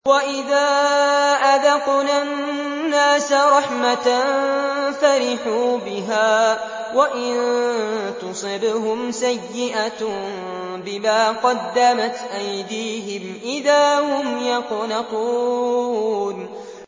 وَإِذَا أَذَقْنَا النَّاسَ رَحْمَةً فَرِحُوا بِهَا ۖ وَإِن تُصِبْهُمْ سَيِّئَةٌ بِمَا قَدَّمَتْ أَيْدِيهِمْ إِذَا هُمْ يَقْنَطُونَ